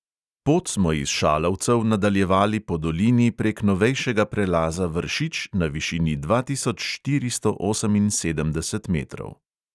Pot smo iz šalovcev nadaljevali po dolini prek novejšega prelaza vršič na višini dva tisoč štiristo oseminsedemdeset metrov.